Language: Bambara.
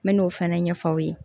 N mɛna o fɛnɛ ɲɛfɔ aw ye